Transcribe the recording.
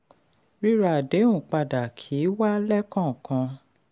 ríra àdéhùn padà kì í wà lẹ́kọ̀ọ́kan.